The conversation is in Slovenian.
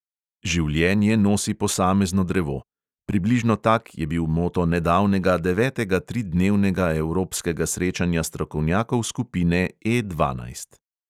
Življenje nosi posamezno drevo – približno tak je bil moto nedavnega devetega tridnevnega evropskega srečanja strokovnjakov skupine E dvanajst.